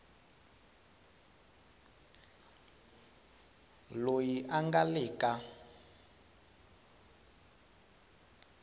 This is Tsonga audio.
loyi a nga le ka